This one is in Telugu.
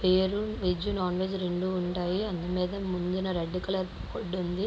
పేరు వెజ్ నాన్ వెజ్ రెండు ఉంటాయి. అందమీద ముందు రెడ్ కలర్ ఫుడ్ ఉంది.